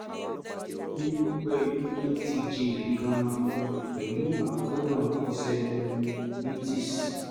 ó ní ọgbẹ́ inú tó ti jinlẹ̀ gan-an pẹ̀lú àkóràn cellulitis